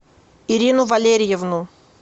ирину валерьевну